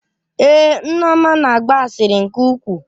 Èé, Nneoma na-agba asịrị nke ukwuu.